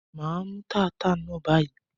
Mà á mú taata náà báyìí.